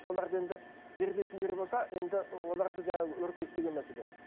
соларды енді жерлейтін жер болса енді оларды жаңа өртейік деген мәселе